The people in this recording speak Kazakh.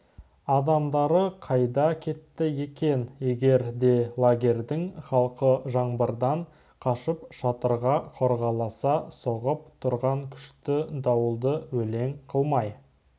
адамдары қайда кетті екен егер де лагерьдің халқы жаңбырдан қашып шатырға қорғаласа соғып тұрған күшті дауылды елең қылмай